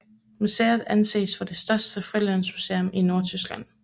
Museet anses for det største frilandsmuseum i Nordtyskland